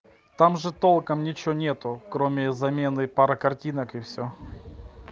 там же толком ничего нету кроме замены пары картинок и все